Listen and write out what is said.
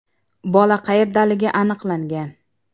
Bola qayerdaligi aniqlangan.